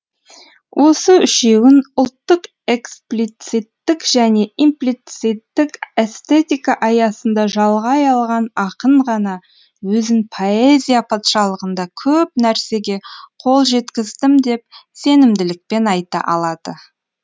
осы үшеуін ұлттық эксплициттік және имплицитік эстетика аясында жалғай алған ақын ғана өзін поэзия патшалығында көп нәрсеге қол жеткіздім деп сенімділікпен айта алады